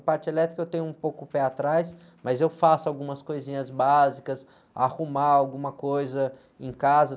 A parte elétrica eu tenho um pouco o pé atrás, mas eu faço algumas coisinhas básicas, arrumar alguma coisa em casa.